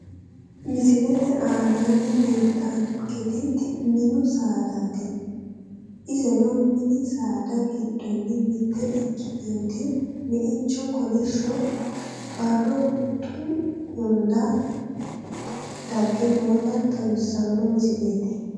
misilete aanaanni leellitaanketti mini saadaati iseno mini saada giddonni mitte ikitewotti meicho kolishsho barro huxxu hunda gadhe noota xawisanno misileeti